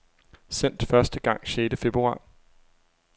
Sendt første gang sjette februar.